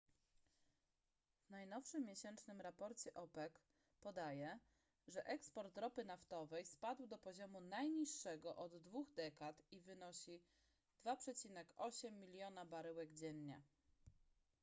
w najnowszym miesięcznym raporcie opec podaje że eksport ropy naftowej spadł do poziomu najniższego od dwóch dekad i wynosi 2,8 miliona baryłek dziennie